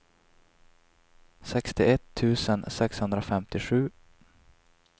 sextioett tusen sexhundrafemtiosju